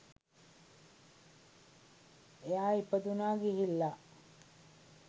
එයා ඉපදුනා ගිහිල්ලා